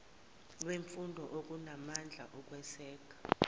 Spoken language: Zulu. lwemfundo olunamandla okweseka